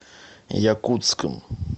якутском